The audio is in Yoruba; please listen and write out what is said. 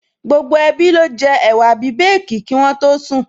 Gbogbo ẹbí ló jẹ ẹ̀wà bíbèèkì kí wọ́n tó sùn